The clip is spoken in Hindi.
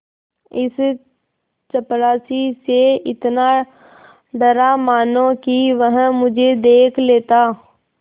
इस चपरासी से इतना डरा मानो कि वह मुझे देख लेता